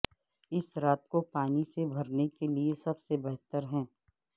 اس رات کو پانی سے بھرنے کے لئے سب سے بہتر ہے